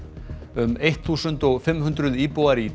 um eitt þúsund og fimm hundruð íbúar í